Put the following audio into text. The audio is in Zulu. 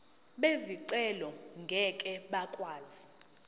bezicelo ngeke bakwazi